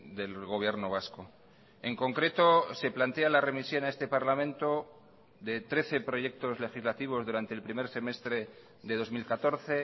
del gobierno vasco en concreto se plantea la remisión a este parlamento de trece proyectos legislativos durante el primer semestre de dos mil catorce